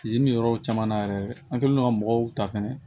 yɔrɔw caman na yɛrɛ an kɛlen don ka mɔgɔw ta fɛnɛ